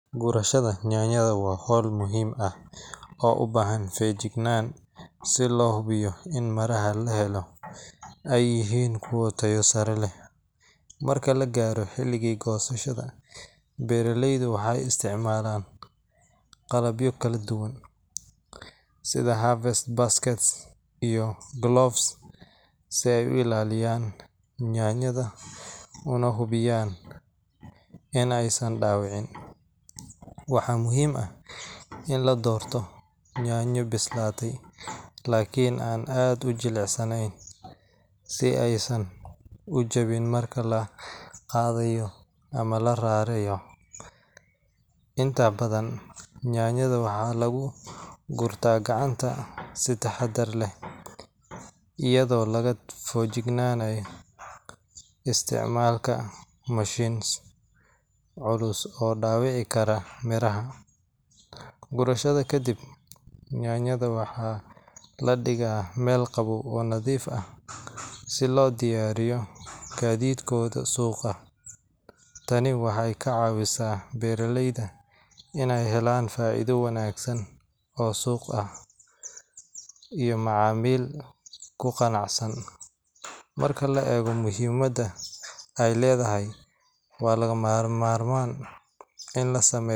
Gurashada nyaanyada waa howl muhiim ah oo ubahan fegjignan si loo xubiyo in miraha lahalo ay yihiin kuwa taayo sare leh, marka lagaaro xiligi gosashada beeraleydu waxay isticmaalan qalabyo kala duban sida harvest basket and gloves si ay u ilaliyan nyaanyada una hubiyan inay San dhabicin, waxaa muhiim ah in la doorto nyaanyo bislaate lakin an aad ujilicsaneyn si aysan ujebin marka laqaadayo ama la rarayo, inta badan nyaanyada waxaa lugu gurta gacanta si taxadar leh ayado laga fegjignanayo isticmaalka machines culus oo dhabici karaa nyaanyada. Gurasha kadib, nyaanyada waxaa ladhigaa Mel qabow oo nadiif ah si loo diyaariyo gaadidkoda suqa, tani waxay ka caawisa beeraleyda inay helan fa'iida wanaagsan oo suqa ah iyo macaamil kuqacsan iyo muhiimada ay leedahay waa laga marman ina lasameeyo wanaag